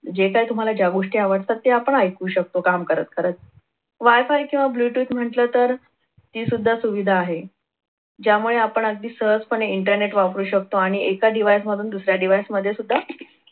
जे काय तुम्हाला ज्या गोष्टी आवडतात ते आपण ऐकू शकतो काम करत करत. wi-fi किंवा ब्लूटूथ म्हटलं तर ही सुद्धा सुविधा आहे ज्यामुळे आपण अगदी सहजपणे इंटरनेट वापरू शकतो आणि एका device मधून दुसऱ्या device मध्ये सुद्धा